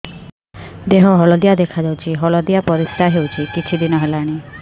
ଦେହ ହଳଦିଆ ଦେଖାଯାଉଛି ହଳଦିଆ ପରିଶ୍ରା ହେଉଛି କିଛିଦିନ ହେଲାଣି